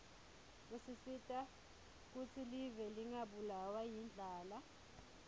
usita kutsi live lingabulawa yindlala